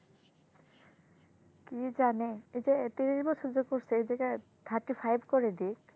কি জানে এই যে ত্রিশ বছর করছে এই জায়গায় thirty five করে দিক,